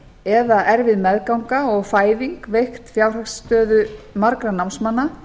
eða erfið meðganga og fæðing veikt fjárhagsstöðu margra námsmanna